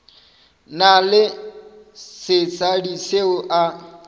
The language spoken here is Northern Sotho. na le sesadi seo a